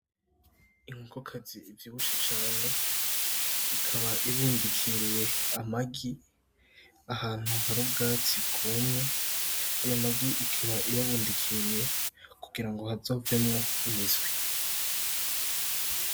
Inkokokazi ivyibushe cane ikaba ibundikiriye amagi ahantu hari ubwatsi bwumye. Ayo magi ikaba iyabundikiriye kugirango hazovemwo imiswi.